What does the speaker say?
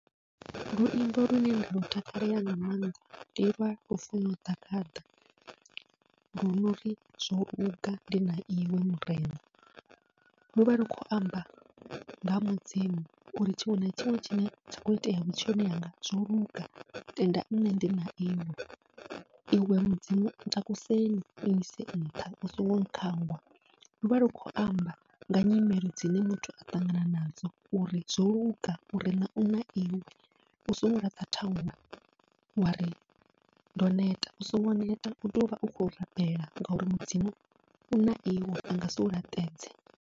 Luimbo lune nda lu takalela nga maanḓa ndi lwa Lufuno Ḓagaḓa lwo nori zwoluga ndina iwe murena, luvha lu khou amba nga mudzimu uri tshiṅwe na tshiṅwe tshine tsha kho itea vhutshiloni hanga zwoluga tenda nṋe ndi na iwe, iwe mudzimu takusei u nyise nṱha u songo khangwa luvha lu khou amba nga nyimele dzine muthu a ṱangana nadzo uri zwoluga murena u na iwe, u songo laṱa thaula wa ri ndo neta u songo neta utea uvha u khou rabela ngauri mudzimu u na iwe angasi u laṱedze.